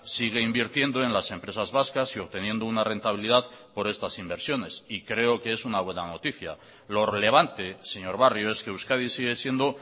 sigue invirtiendo en las empresas vascas y obteniendo una rentabilidad por estas inversiones y creo que es una buena noticia lo relevante señor barrio es que euskadi sigue siendo